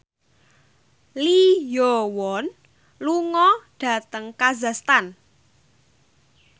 Lee Yo Won lunga dhateng kazakhstan